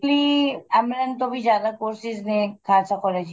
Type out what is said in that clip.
amylin ਤੋਂ ਵੀ ਜਿਆਦਾ courses ਨੇ ਖਾਲਸਾ college ਚ